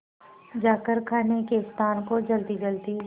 जाकर खाने के स्थान को जल्दीजल्दी